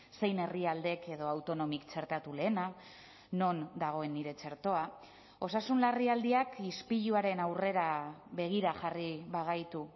zein herrialdek edo autonomik txertatu lehena non dagoen nire txertoa osasun larrialdiak ispiluaren aurrera begira jarri bagaitu